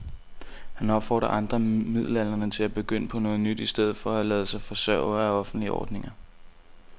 Han opfordrer andre midaldrende til at begynde på noget nyt i stedet for at lade sig forsørge af offentlige ordninger.